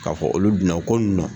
K'a fɔ olu dunna ko ninnu na.